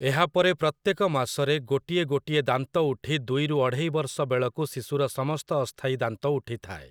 ଏହାପରେ ପ୍ରତ୍ୟେକ ମାସରେ ଗୋଟିଏ ଗୋଟିଏ ଦାନ୍ତ ଉଠି ଦୁଇରୁ ଅଢ଼େଇ ବର୍ଷ ବେଳକୁ ଶିଶୁର ସମସ୍ତ ଅସ୍ଥାୟୀ ଦାନ୍ତ ଉଠିଥାଏ ।